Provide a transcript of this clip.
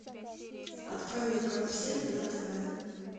открой мне карусель на тв